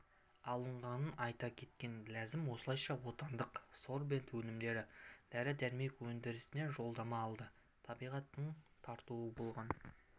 алынғанын айта кеткен ләзім осылайша отандық сорбент өнімдері дәрі-дәрмек өндірісіне жолдама алды табиғаттың тартуы болған